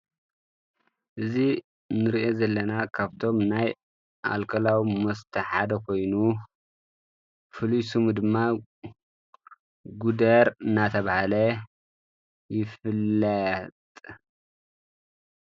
እዝ ንርአ ዘለና ካብቶም ናይ ኣልቀላዊ መስተሓደ ኾይኑ ፍሉሱሙ ድማ ጉደር እናተብሃለ ይፍልጥ።